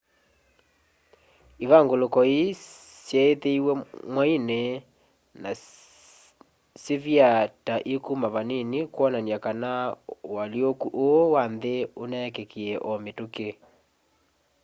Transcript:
ivanguluko ii syeithiwe mwaini na syivyaa ta ikuma vanini kwonania kana ualyũkũ ũu wa nthi uneekikie o mitũki